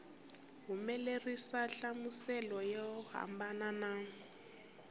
humelerisa nhlamuselo yo hambana na